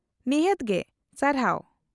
-ᱱᱤᱦᱟᱹᱛ ᱜᱮ , ᱥᱟᱨᱦᱟᱣ ᱾